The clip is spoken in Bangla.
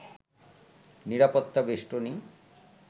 নিরাপত্তা বেষ্টনী